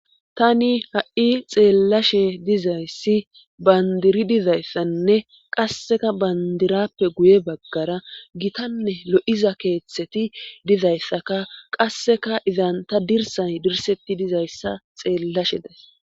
tani ha7i xeellashe dizayssi bandiri dizayssanne qasseka bandirappe guye baggara gitanne lo7iza keeththeti dizayssaka qasseka izanta dirsay dirsetti dizayssa xeellashe days